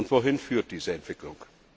Wohin führt diese Entwicklung?